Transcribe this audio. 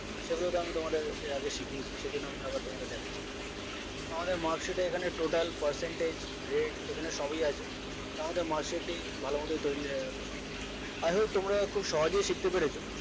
সেগুলো তো আমি তোমাদের এর আগে শিখিয়েছি সেই জন্য আমি আবার আমি তোমাদের দেখাচ্ছি না আমাদের marksheet এ এখানে total percenteg grade এখানে সবই আছে so আমাদের marksheet টি ভালো মতোই তৈরী হয়ে গেল i hope তোমরা খুব সহজেই শিখতে পেরেছো